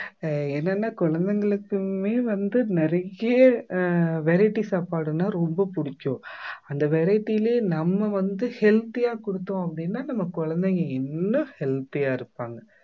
அஹ் என்னன்னா குழந்தைங்களுக்குமே வந்து நிறைய ஆஹ் variety சாப்பாடுன்னா ரொம்ப பிடிக்கும் அந்த variety லே நம்ம வந்து healthy ஆ கொடுத்தோம் அப்படின்னா நம்ம குழந்தைங்க இன்னும் healthy ஆ இருப்பாங்க